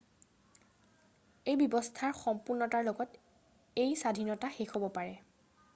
এই ব্যবস্থাৰ সম্পুৰ্ণতাৰ লগত, এই স্বাধীনতা শেষ হব পাৰে।